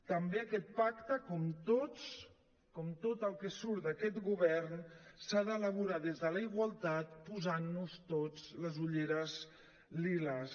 també aquest pacte com tots com tot el que surt d’aquest govern s’ha d’elaborar des de la igualtat posant nos totes les ulleres liles